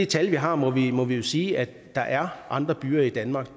tal vi har må vi må vi jo sige at der er andre byer i danmark